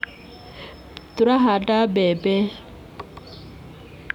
Tũrahanda mbembe